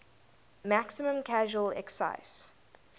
maximum casual excise